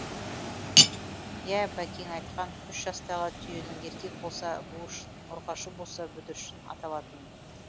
иә бәкең айтқан үш жастағы түйенің еркек болса буыршын ұрғашы болса бүдіршін аталатынын